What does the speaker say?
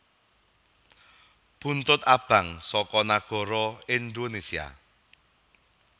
Buntut Abang saka Nagara Indonèsia